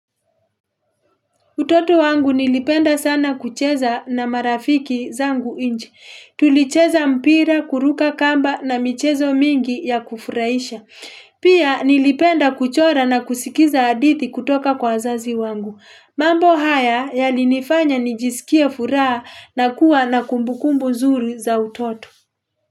Utoto wangu nilipenda sana kucheza na marafiki zangu nje. Tulicheza mpira, kuruka kamba na michezo mingi ya kufuraisha. Pia nilipenda kuchora na kusikiza hadithi kutoka kwa azazi wangu. Mambo haya yalinifanya nijisikia furaha na kuwa na kumbukumbu nzuri za utoto.